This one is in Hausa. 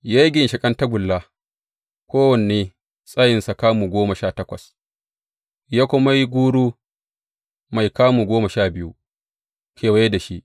Ya yi ginshiƙan tagulla, kowanne tsayinsa kamu goma sha takwas, ya kuma yi guru mai kamu goma sha biyu, kewaye da shi.